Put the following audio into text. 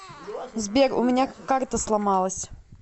сбер у меня карта сломалась